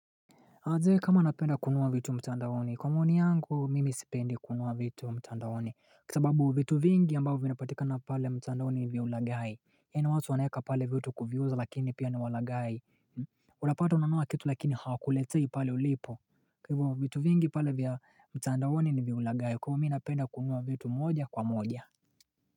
MAnzee kama napenda kunua vitu mtandaoni kwa maoni yangu mimi sipendi kunua vitu mtandaoni Kwa sababu vitu vingi ambavyo vinapatikana pale mtandaoni ni vya ulagai yaani watu wanaeka pale vitu kuviuza lakini pia ni walaghai Utapata kunanua kitu lakini hawakuletei pale ulipo Kwa hivyo vitu vingi pale vya mtandaoni ni vya ulaghai kwa hivyo mi napenda kununua vitu moja kwa moja.